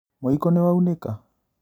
Mũiko nĩwaunĩka?